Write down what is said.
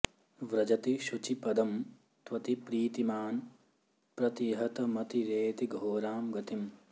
व्रजति शुचि पदं त्वति प्रीतिमान् प्रतिहतमतिरेति घोरां गतिम्